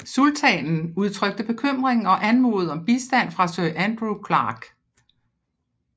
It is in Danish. Sultanen udtrykte bekymring og anmodede om bistand fra Sir Andrew Clarke